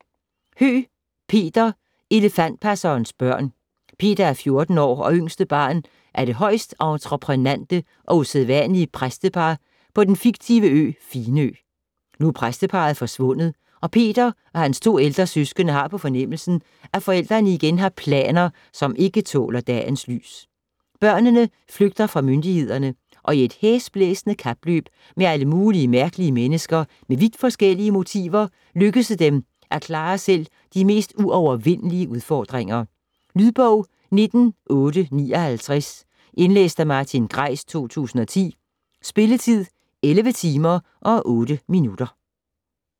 Høeg, Peter: Elefantpassernes børn Peter er 14 år og yngste barn af det højst entreprenante og usædvanlige præstepar på den fiktive ø Finø. Nu er præsteparret forsvundet, og Peter og hans to ældre søskende har på fornemmelsen, at forældrene igen har planer, som ikke tåler dagens lys. Børnene flygter fra myndighederne, og i et hæsblæsende kapløb med alle mulige mærkelige mennesker med vidt forskellige motiver lykkes det dem at klare selv de mest uovervindelige udfordringer. Lydbog 19859 Indlæst af Martin Greis, 2010. Spilletid: 11 timer, 8 minutter.